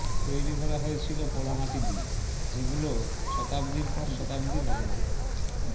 তৈরি করা হয়েছিল পোড়ামাটি দিয়ে যেগুলো শতাব্দীর পর শতাব্দী লবণাক্ত